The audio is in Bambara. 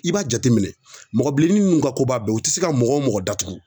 I b'a jateminɛ mɔgɔ bilennin n'u ka koba bɛɛ u tɛ se ka mɔgɔ mɔgɔ datugu